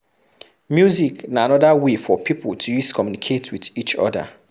Music na anoda wey for pipo to use communicate with each other